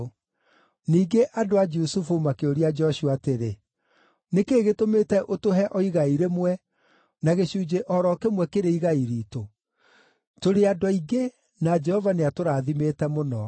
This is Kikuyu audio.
Ningĩ andũ a Jusufu makĩũria Joshua atĩrĩ, “Nĩ kĩĩ gĩtũmĩte ũtũhe o igai rĩmwe na gĩcunjĩ o ro kĩmwe kĩrĩ igai riitũ? Tũrĩ andũ aingĩ na Jehova nĩatũrathimĩte mũno.”